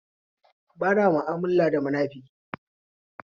Bana ma'amala da munafiki